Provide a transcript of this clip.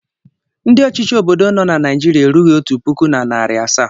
Ndị ọchichi obodo nọ na Naịjirịa erughi otu pụkụ na narị asaa.